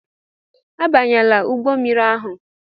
Abanyela ụgbọ mmiri ahụ!